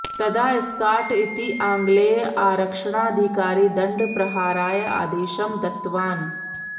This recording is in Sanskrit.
तदा स्काट् इति आङ्ग्लेयः आरक्षकाधिकारी दण्डप्रहाराय आदेशं दत्तवान्